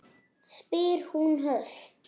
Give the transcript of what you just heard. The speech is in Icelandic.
spyr hún höst.